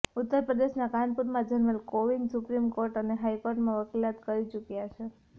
ઉત્તર પ્રદેશના કાનપુરમાં જન્મેલ કોવિંદ સુપ્રીમ કોર્ટ અને હાઇ કોર્ટમાં વકીલાત કરી ચૂક્યાં છે